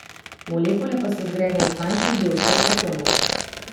Molekule pa so zgrajene iz manjših delcev, atomov.